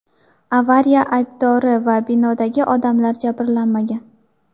Avariya aybdori va binodagi odamlar jabrlanmagan.